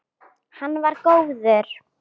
Hann var góður.